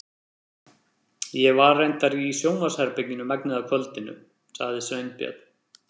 Ég var reyndar í sjónvarpsherberginu megnið af kvöldinu- sagði Sveinbjörn.